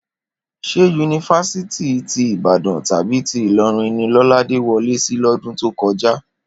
Ṣé yunifásítì ti Ìbàdàn tàbí tí Ìlọrin ni Lọ́ládé wọlé sí lọ́dún tó kọjá?